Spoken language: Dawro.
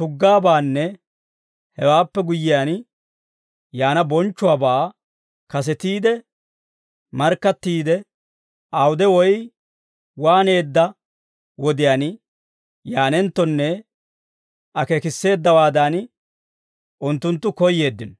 tuggaabaanne hewaappe guyyiyaan yaana bonchchuwaabaa kasetiide markkattiidde, awude woy waaneedda wodiyaan yaanenttonne akeekisseeddawaadan, unttunttu koyyeeddino.